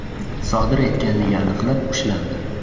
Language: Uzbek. sodir etganligi aniqlanib ushlandi.